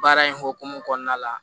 Baara in hokumu kɔnɔna la